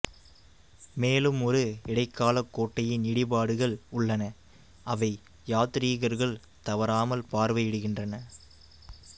மேலும் ஒரு இடைக்கால கோட்டையின் இடிபாடுகள் உள்ளன அவை யாத்ரீகர்கள் தவறாமல் பார்வையிடுகின்றன